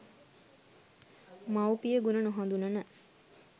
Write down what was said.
මවුපිය ගුණ නොහඳුනන